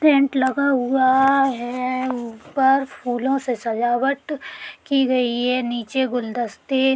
Tent लगा हुआ है| उपर फूलों से सजावट की गई हे। नीचे गुलदस्ते --